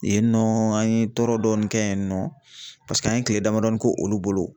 Yen nɔ an ye tɔɔrɔ dɔɔni kɛ yen nɔ paseke an ye kile damadɔ k'o olu bolo .